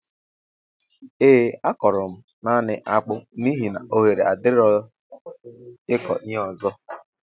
Ee a kọro mụ naanị akpụ n'ihi na oghere adirọ ịkọ ihe ọzọ